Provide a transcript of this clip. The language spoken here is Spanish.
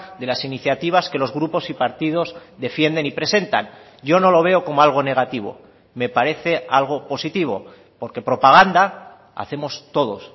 de las iniciativas que los grupos y partidos defienden y presentan yo no lo veo como algo negativo me parece algo positivo porque propaganda hacemos todos